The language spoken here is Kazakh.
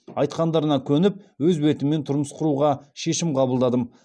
айтқандарына көніп өз бетіммен тұрмыс құруға шешім қабылдадым